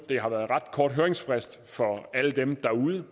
det har været en ret kort høringsfrist for alle dem derude